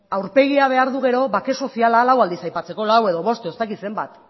aurpegia behar du gero bake soziala lau aldiz aipatzeko lau edo bost edo ez dakit zenbat